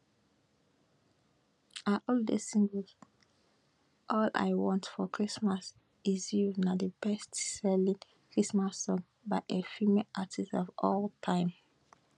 her holiday single all i want for christmas is you na di bestselling christmas song by a female artist of all time